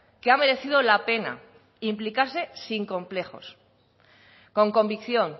que ha merecido la pena implicarse sin complejos con convicción